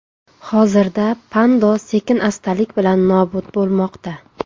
Hozirda Pando sekin-astalik bilan nobud bo‘lmoqda.